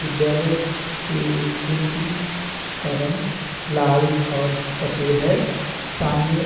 विद्यालय के पेंटिंग का रंग लाल और सफेद है सामाने--